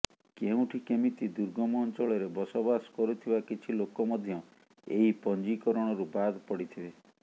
କେଉଁଠି କେମିତି ଦୁର୍ଗମ ଅଞ୍ଚଳରେ ବସବାସ କରୁଥିବା କିଛି ଲୋକ ମଧ୍ୟ ଏହି ପଞ୍ଜୀକରଣରୁ ବାଦ ପଡ଼ିଥିବେ